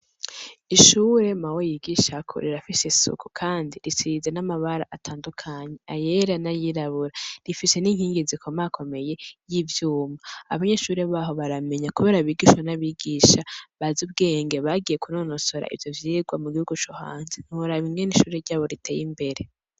Ishure mawe yigishako rirafise isuku kandi risize n'amabara atandukanye ayere na yirabura rifise n'inkingi zikoma akomeye y'ibyuma abanyeshuri baho baramenya kubera bigishwa n'abigisha baze ubwenge bagiye kunonosora ibyo vyigwa mu gihugu co hanzi ntura bimwe n'ishure ryabo riteye imbere.